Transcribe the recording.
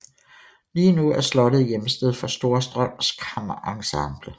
Lige nu er slottet hjemsted for Storstrøms Kammerensemble